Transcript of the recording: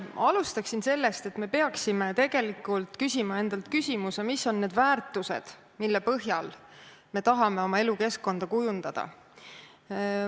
Alustan sellest, et me peaksime endalt küsima, mis on need väärtused, mille põhjal me tahame oma elukeskkonda kujundada.